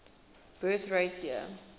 birth rate year